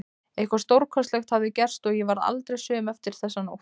Eitthvað stórkostlegt hafði gerst og ég varð aldrei söm eftir þessa nótt.